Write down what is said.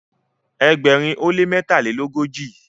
ẹgbẹrin o le mẹtalelogoji